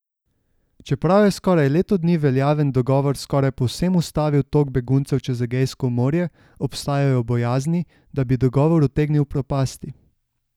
Čeprav je skoraj leto dni veljaven dogovor skoraj povsem ustavil tok beguncev čez Egejsko morje, obstajajo bojazni, da bi dogovor utegnil propasti.